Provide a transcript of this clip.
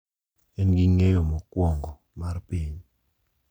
En gi ng’eyo mokwongo mar piny,